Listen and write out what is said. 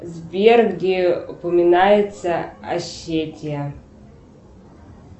сбер где упоминается осетия